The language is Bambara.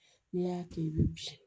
N'i y'a kɛ i bɛ bin